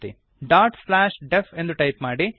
def dot slash DEF ಎಂದು type ಮಾಡಿರಿ